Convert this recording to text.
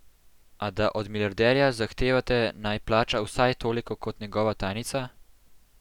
A da od milijarderja zahtevate, naj plača vsaj toliko kot njegova tajnica?